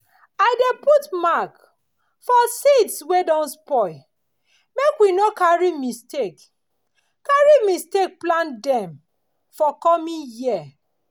i dey put mark for seeds wey don spoil make we no carry mistake carry mistake plant dem for coming year.